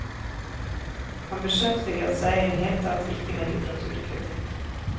Han beskjeftiget seg i det hele tatt ikke med litteraturkritikk.